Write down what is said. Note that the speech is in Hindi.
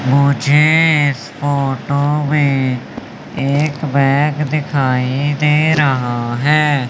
मुझे इस फोटो में एक बैग दिखाई दे रहा है।